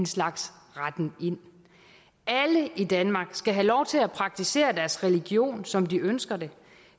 slags retten ind alle i danmark skal have lov til at praktisere deres religion som de ønsker det